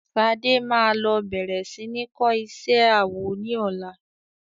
Ṣadé máa lọ bẹ̀rẹ̀ sí ní kọ́ isé awọ ní ọlá.